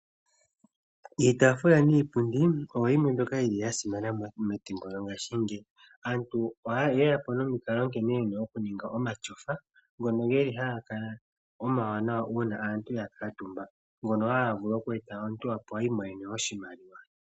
Iitaafula niipundi oyo yimwe mbyoka yi li ya simana methimbo lyongashingeyi. Aantu oha ye yapo nomikalo nkene ye na okuninga omatyofa ngono ge li ha ga kala omawanawa uuna aantu ya kuutumba, ngono ha ga eta omuntu opo a imonene oshimaliwa.